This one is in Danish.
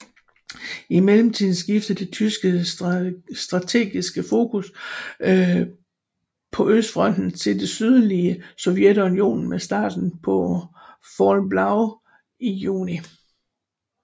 I mellemtiden skiftede det tyske strategiske fokus på Østfronten til det sydlige Sovjetunionen med starten på Fall Blau i juni